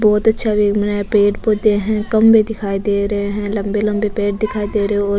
बहोत अच्छा व्यू है पेड़ पौधे है खम्भे दिखाई दे रहे है लम्बे लम्बे पेड़ दिखाई दे रहे है और --